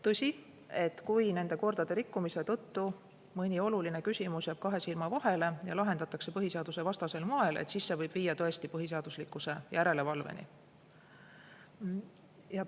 Tõsi, kui nende kordade rikkumise tõttu mõni oluline küsimus jääb kahe silma vahele ja lahendatakse põhiseadusvastasel moel, siis see võib viia tõesti põhiseaduslikkuse järelevalveni.